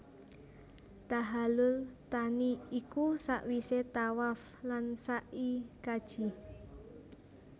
Tahallul thani iku sawisé tawaf lan sa i kaji